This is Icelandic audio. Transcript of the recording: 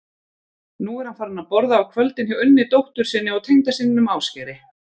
Nú er hann farinn að borða á kvöldin hjá Unni dóttur sinni og tengdasyninum Ásgeiri.